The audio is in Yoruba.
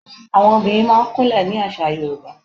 Àwọn obìnrin máa ń kún lẹ̀ ní àṣà Yorùbá.